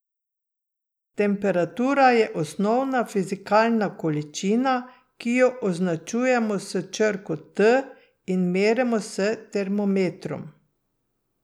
Temperatura je osnovna fizikalna količina, ki jo označujemo s črko T in merimo s termometrom.